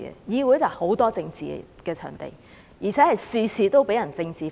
議會不但是充滿政治的場地，而且事事被政治化。